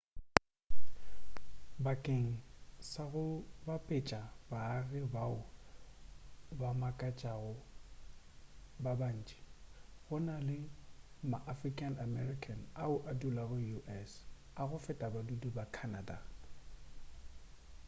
bakeng sa go bapetša baagi bao ba makatšago ba bantši go na le ma african american ao a dulago us a go feta badudi ba canada